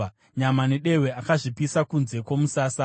Nyama nedehwe akazvipisa kunze kwomusasa.